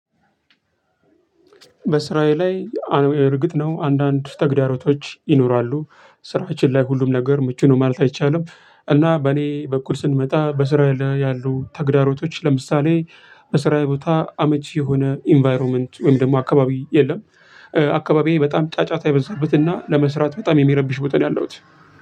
በስራዬ ላይ እርግጥ ነው አንዳንድ ተግዳሮቶች ይኖራሉ ስራችን ላይ ሁሉም ነገር ምቹ ነው ማለት አይቻልም። እና በእኔ በኩል ስንመጣ በስራ ላይ ያሉ ተግዳሮቶች ለምሳሌ በስራዬ ቦታ አመች የሆነ ኢንቫይሮመንት ወይም ደግሞ አካባቢ የለም። አካባቢዬ በጣም ጫጫታ የበዛበትና ለመስራት በጣም የሚረብሽ ቦታ ነው ያለሁት።